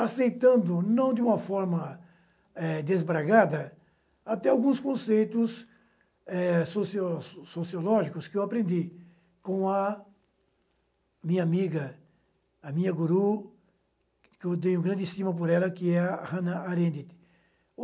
aceitando, não de uma forma eh desbragada, até alguns conceitos eh socio sociológicos que eu aprendi com a minha amiga, a minha guru, que eu tenho grande estima por ela, que é a Hannah Arendt.